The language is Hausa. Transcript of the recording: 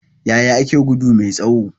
Yaya ake gudu mai tsawo?